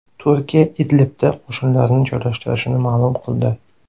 Turkiya Idlibda qo‘shinlarini joylashtirishini ma’lum qildi.